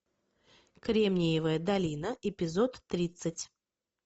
кремневая долина эпизод тридцать